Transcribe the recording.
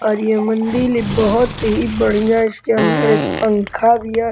और ये मंदिल बोहोत ही बढ़िया इसके अंदर एक पंखा भी है।